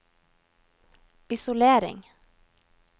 isolering